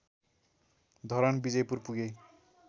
धरान विजयपुर पुगे